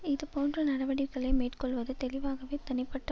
இது போன்ற நடவடிக்களை மேற்கொள்வது தெளிவாகவே தனிப்பட்ட